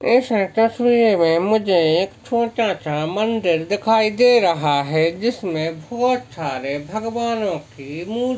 इस तस्वीर मे मुझे एक छोटासा मंदिर दिखाई दे रहा है जिसमे बहुत सारे भगवानो की मूर्ति--